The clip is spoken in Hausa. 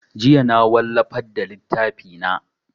Jiya na wallafar da littafi na